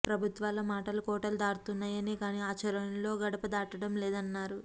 ప్రభుత్వాల మాటలు కోటలు దాటుతున్నాయే గాని ఆచరణలో గడప దాటడం లేదన్నారు